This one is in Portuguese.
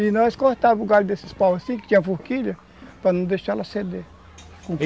E nós cortava o galho desses paus assim, que tinha a forquilha, para não deixar ela ceder.